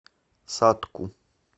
сатку